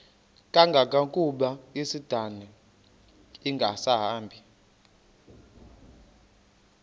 kangangokuba isindane ingasahambi